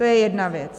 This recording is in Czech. To je jedna věc.